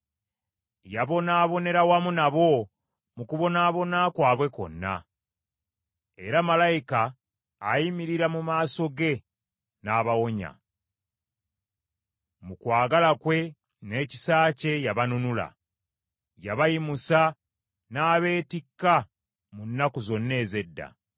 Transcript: Yabonaabonera wamu nabo mu kubonaabona kwabwe kwonna, era malayika ayimirira mu maaso ge n’abawonya. Mu kwagala kwe n’ekisa kye yabanunula; yabayimusa n’abeetikka mu nnaku zonna ez’edda.